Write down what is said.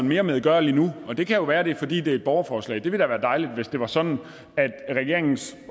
mere medgørlig nu og det kan jo være at det er fordi det er et borgerforslag det ville være da dejligt hvis det var sådan at regeringens